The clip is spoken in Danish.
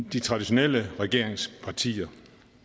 de traditionelle regeringspartier